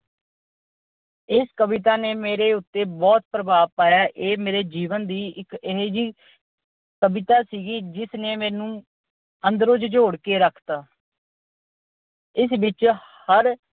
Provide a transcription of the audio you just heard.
ਇਸ ਕਵਿਤਾ ਨੇ ਮੇਰੇ ਉਤੇ ਬਹੁਤ ਪ੍ਰਭਾਵ ਪਾਇਆ। ਇਹ ਮੇਰੇ ਜੀਵਨ ਦੀ ਇਹੋ ਜਿਹੀ ਕਵਿਤਾ ਸੀਗੀ ਜਿਸ ਨੇ ਮੈਨੂੰ ਅੰਦਰੋ ਝਿਜੋੜ ਕੇ ਰੱਖਤਾ। ਇਸ ਵਿੱਚ ਹਰ